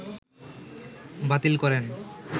বাতিল করেন